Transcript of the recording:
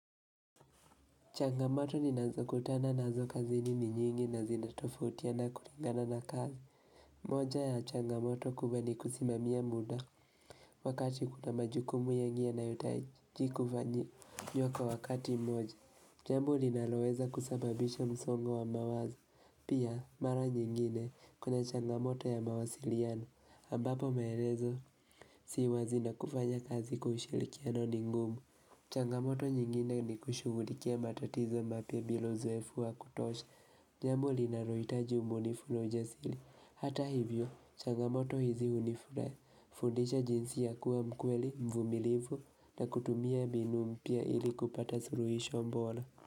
Changamoto ninazo kutana nazo kazini ni nyingi na zinatofautiana kulingana na kazi. Moja ya changamoto kubwa ni kusimamia muda. Wakati kuna majukumu yenye inahitaji kufanyiwa wakati mmoja. Jambo linaloweza kusababisha msongo wa mawazo. Pia mara nyingine kuna changamoto ya mawasiliano. Ambapo maelezo si wazi na kufanya kazi kwa ushirikiano ni ngumu. Changamoto nyingine ni kushughulikia matatizo mapya bila uzoefu wa kutosha. Jambo linalo hitaji ubunifu na ujasiri. Hata hivyo, changamoto hizi fundisha jinsi ya kuwa mkweli, mvumilivu na kutumia mbinu mpya ili kupata suluhisho bora.